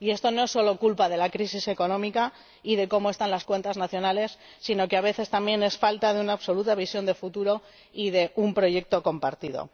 Y esto no es solo culpa de la crisis económica y de cómo están las cuentas nacionales, sino que, a veces, también, es falta de una absoluta visión de futuro y de un proyecto compartido.